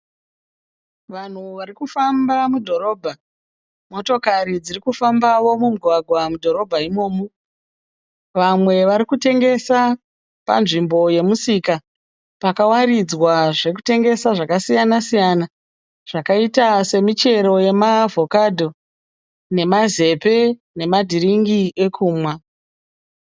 Vanhu vari kufamba mudhorobha. Motokari dziri kufambawo mumugwagwa mudhorobha imomu. Vamwe vari kutengesa panzvimbo yomusika. Pakawaridzwa zvokutengasa zvakasiyana siyana zvakaita semichero yemaavhokadho nemazepe nemadhiringi ekumwa.